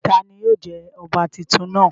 Tani yóò jẹ ọba titun náa?